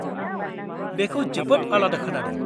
-बेखौ जोबोद आलादा खोनादों।